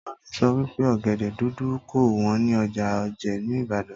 Tólá so wípé ògèdè dúdú kò wón ní ọjà òjé ní ìbàdàn